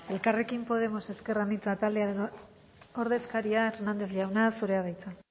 elkarrekin podemos ezker anitza taldearen ordezkaria hernández jauna zurea da hitza